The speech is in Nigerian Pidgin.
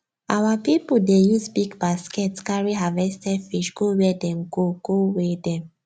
our people dey use big basket carry harvested fish go where dem go go weigh them